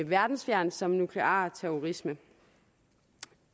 verdensfjernt som nuklear terrorisme